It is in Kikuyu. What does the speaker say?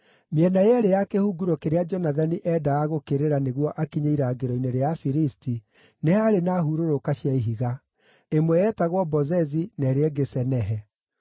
Mĩena yeerĩ ya kĩhunguro kĩrĩa Jonathani endaga gũũkĩrĩra nĩguo akinye irangĩro-inĩ rĩa Afilisti nĩ haarĩ na hurũrũka cia ihiga; ĩmwe yetagwo Bozezi, na ĩrĩa ĩngĩ Senehe.